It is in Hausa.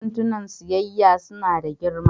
Kantinan siyayya suna da girma